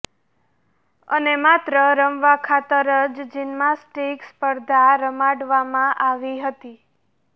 અને માત્ર રમવા ખાતર જ જીન્માસ્ટીક સ્પર્ધા રમાડવામાં આવી હતી